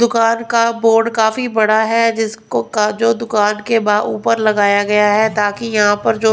दुकान का बोर्ड काफी बड़ा है जिसको का जो दुकान के ऊपर लगाया गया है ताकि यहां पर जो--